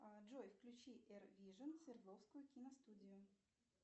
джой включи эр вижн свердловскую киностудию